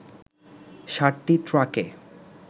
সাতটি ট্রাকে